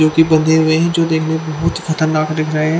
जो कि बन्दे हुए हैं जुटे बुत बुत खतरनाक दिख रहे हैं।